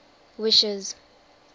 wishes